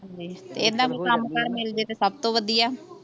ਐਦਾਂ ਕੋਈ ਕੰਮ ਕਾਰ ਮਿਲ ਜੇ ਤਾਂ ਸਭ ਤੋਂ ਵਧੀਆ